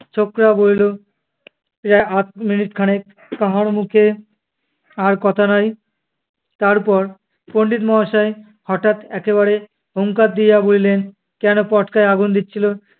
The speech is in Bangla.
বলিল, প্রায় আধ মিনিট খানেক কাহারো মুখে আর কথা নাই। তারপর পণ্ডিত মহাশয় হঠাৎ একবারে হুংকার দিয়া বলিলেন, কেনো পটকায় আগুন দিচ্ছিলে?